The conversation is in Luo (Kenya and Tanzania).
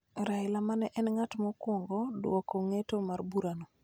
Raila ma ne en ng�at mokwongo dwoko ng'eto mar burano